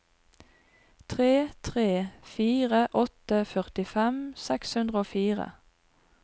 tre tre fire åtte førtifem seks hundre og fire